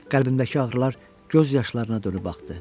Qəlbimdəki ağrılar göz yaşlarına dönüb axdı.